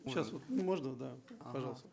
сейчас вот можно да пожалуйста